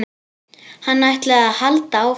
Hann ætlaði að halda áfram.